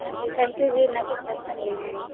ਹਾਂਜੀ, thank you ਜੀ ਇਨ੍ਹਾਂ ਕੁੱਛ ਦਸਨ ਲਈ ਮੈਨੂੰ